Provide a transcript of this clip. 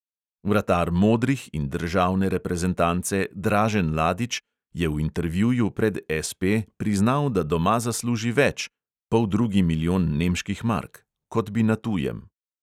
Vratar "modrih" in državne reprezentance dražen ladič je v intervjuju pred SP priznal, da doma zasluži več (poldrugi milijon nemških mark), kot bi na tujem.